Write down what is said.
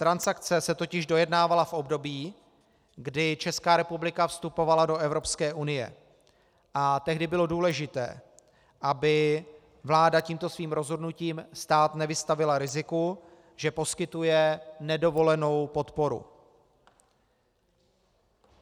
Transakce se totiž dojednávala v období, kdy Česká republika vstupovala do Evropské unie, a tehdy bylo důležité, aby vláda tímto svým rozhodnutím stát nevystavila riziku, že poskytuje nedovolenou podporu.